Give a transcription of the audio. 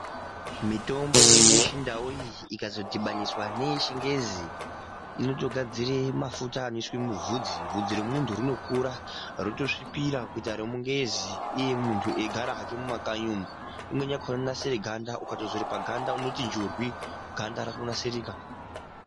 Mitombo yedu yechindau iyi ikazodhibaniswa ngeyechingezi inotogadzire mafuta anoiswe mubvudzi bvudzi remuntu rinokura rotosvipira kuite remungezi iye muntu eigara hake mumakanyi umu imweni yakhona inodzorwe paganda ukatodzore paganda unoti njurwi ganda ratonasirika.